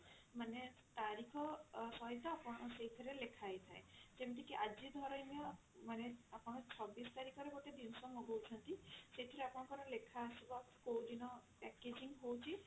"ମାନେ ତାରିଖ ଅ ସହିତ ଆପଣ ସେଇଥିରେ ଲେଖା ହେଇଥାଏ ଯେମିତି କି ଆଜି ଧରିନିଅ ମାନେ ଆପଣ ଚବିଶ ତାରିଖ ରେ ଗୋଟେ ଜିନିଷ ମଗଉଛନ୍ତି ସେଇଥିରେ ଆପଣଙ୍କର ଲେଖା ଆସିବ କଉଦିନ